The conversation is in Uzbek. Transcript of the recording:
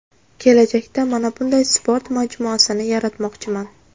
Kelajakda mana bunday sport majmuasini yaratmoqchiman”.